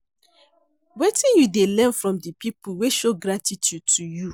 Wetin you dey learn from di people wey show gratitude to you?